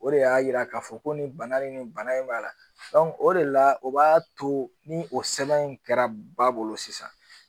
O de y'a yira k'a fɔ ko nin bana in nin bana in b'a la o de la o b'a to ni o sɛbɛn in kɛra ba bolo sisan